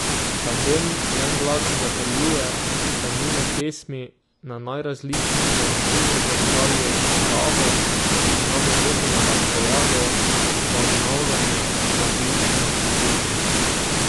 Tandem v en glas zatrjuje, da njune pesmi na najrazličnejše načine zrcalijo naravo, ki nam je vedno na razpolago za obnavljanje različnih ljubezni.